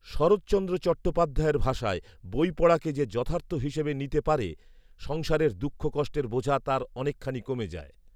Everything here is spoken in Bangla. শরৎচন্দ্র চট্টপাধ্যায়ের ভাষায়, ‘বই পড়াকে যে যথার্থ হিসেবে নিতে পারে, সংসারের দুঃখ কষ্টের বোঝা তার অনেকখানি কমে যায়